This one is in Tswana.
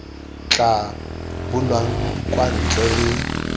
tla bulwang kwa ntle le